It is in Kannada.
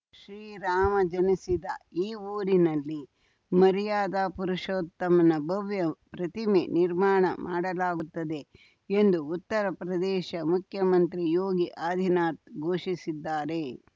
ಶ್ರೀರಾಮ ಜನಿಸಿದ ಈ ಊರಿನಲ್ಲಿ ಮರ್ಯಾದಾ ಪುರುಷೋತ್ತಮನ ಭವ್ಯ ಪ್ರತಿಮೆ ನಿರ್ಮಾಣ ಮಾಡಲಾಗುತ್ತದೆ ಎಂದು ಉತ್ತರ ಪ್ರದೇಶ ಮುಖ್ಯಮಂತ್ರಿ ಯೋಗಿ ಆದಿನಾಥ್ ಘೋಷಿಸಿದ್ದಾರೆ